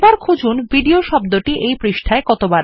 খুঁজুন কবার ভিডিও শব্দটি কতবার পৃষ্ঠা তে প্রদর্শিত হয়ছে